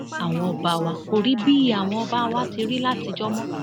àwọn ọba kò rí bíi àwọn ọba wa ti rí látijọ mọ